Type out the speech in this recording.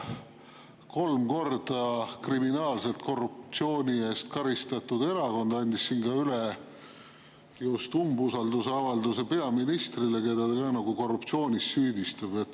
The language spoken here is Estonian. Kolm korda kriminaalselt korruptsiooni eest karistatud erakond andis siin just üle umbusaldusavalduse peaministrile, keda ta korruptsioonis süüdistab.